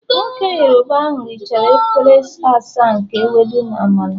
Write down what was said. Nwoke Yoruba ahu richara efere asaa nke Ewedu na Amala